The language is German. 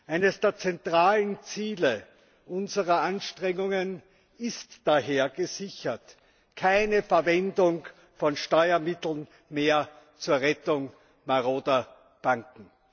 Eines der zentralen Ziele unserer Anstrengungen ist daher gesichert keine Verwendung von Steuermitteln mehr zur Rettung maroder Banken.